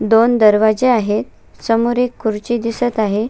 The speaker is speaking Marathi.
दोन दरवाजे आहेत समोर एक खुर्ची दिसत आहे.